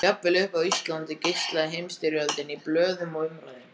Jafnvel uppi á Íslandi geisaði Heimsstyrjöldin í blöðum og umræðum.